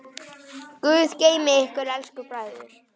Guð geymi ykkur elsku bræður.